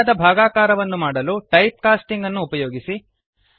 ಸರಿಯಾದ ಭಾಗಾಕಾರವನ್ನು ಮಾಡಲು ಟೈಪ್ ಕಾಸ್ಟಿಂಗ್ ಅನ್ನು ಉಪಯೋಗಿಸಿ